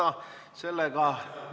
Ei soovi.